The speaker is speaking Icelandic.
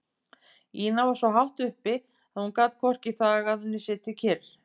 Ína var svo hátt uppi að hún gat hvorki þagað né setið kyrr.